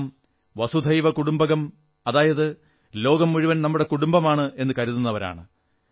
നാം വസുധൈവകുടുംബകം അതായത് ലോകം മുഴുവൻ നമ്മുടെ കുടുംബമാണ് എന്നു കരുതുന്നവരാണ്